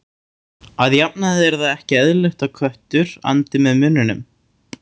Að jafnaði er það ekki eðlilegt að köttur andi með munninum.